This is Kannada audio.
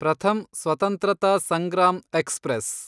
ಪ್ರಥಮ್ ಸ್ವತಂತ್ರತ ಸಂಗ್ರಾಮ್ ಎಕ್ಸ್‌ಪ್ರೆಸ್